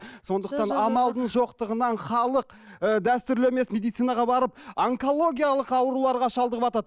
сондықтан амалдың жоқтығынан халық ы дәстүрлі емес медицинаға барып онкологиялық ауруларға шалдығыватады